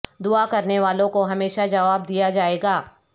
دعا کرنے والوں کو ہمیشہ جواب دیا جائے گا